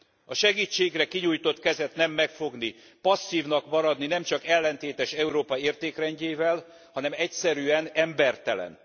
A segítségre kinyújtott kezet nem megfogni, passzívnak maradni, nemcsak ellentétes Európa értékrendjével, hanem egyszerűen embertelen.